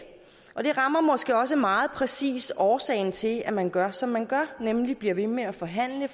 og det rammer måske også meget præcis årsagen til at man gør som man gør nemlig bliver ved med at forhandle